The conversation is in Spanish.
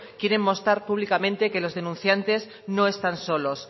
quieren mostrar públicamente que los denunciantes no están solos